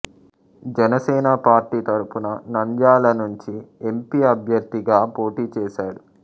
Janasena party తరపున నంద్యాల నుంచి MP అభ్యర్థిగా పోటీ చేశాడు